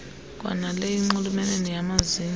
kwanaleyo inxulumene nayamazinyo